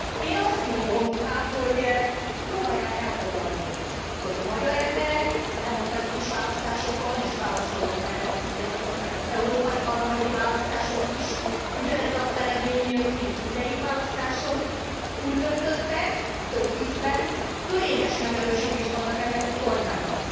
Én azt mondom inkább, hogy próbálják elfogadni, hogy a magyar emberek demokratikus választásokon és válaszolom erre, hogy igen, ott voltak az európai parlamenti választások is, ugyanez az eredmény jött ki, mint mindegyik választáson úgy döntöttek több ízben, hogy fölényes megerősítést adnak ennek a kormánynak.